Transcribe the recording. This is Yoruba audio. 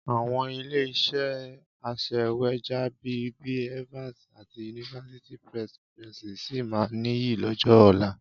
Àwọn ilé-iṣẹ́ aṣèwéjádé bí i Evans àti University Press PLC sì máa nìyí lọ́jọ́ ọ̀la.